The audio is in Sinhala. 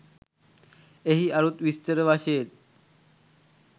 එහි අරුත් විස්තර වශයෙන්